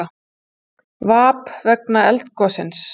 Tap vegna eldgossins